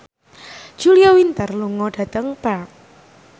Julia Winter lunga dhateng Perth